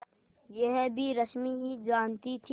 यह भी रश्मि ही जानती थी